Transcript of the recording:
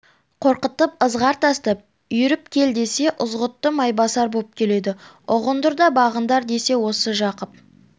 қорқытып ызғар тастап үйіріп кел десе ызғұтты майбасар боп келеді ұғындыр да бағындар десе осы жақып